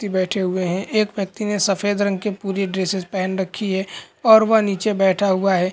व्यक्ति बैठे हुए है एक व्यक्ति ने सफ़ेद रंग की पूरी ड्रेसेस पेहन रखी है और वह नीचे बैठा हुआ है।